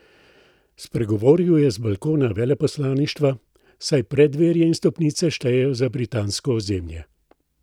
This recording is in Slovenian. Spregovoril je z balkona veleposlaništva, saj preddverje in stopnice štejejo za britansko ozemlje.